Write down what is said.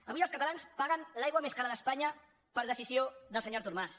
avui els catalans paguen l’aigua més cara d’espanya per decisió del senyor artur mas